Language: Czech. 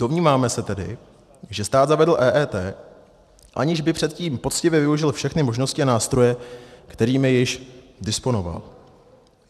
Domníváme se tedy, že stát zavedl EET, aniž by předtím poctivě využil všechny možnosti a nástroje, kterými již disponoval.